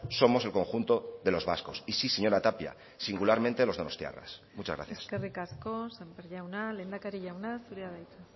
somos el conjunto de los vascos y sí señora tapia singularmente los donostiarras muchas gracias eskerrik asko sémper jauna lehendakari jauna zurea da hitza